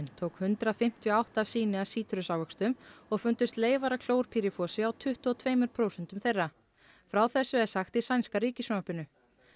tók hundrað fimmtíu og átta sýni af sítrusávöxtum og fundust leifar af klórpýrifosi á tuttugu og tveimur prósentum þeirra frá þessu er sagt í sænska ríkissjónvarpinu